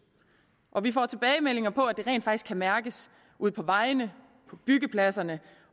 og vi får tilbagemeldinger på at det rent faktisk kan mærkes ude på vejene på byggepladserne